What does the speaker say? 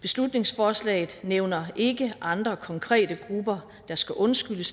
beslutningsforslaget nævner ikke andre konkrete grupper der skal undskyldes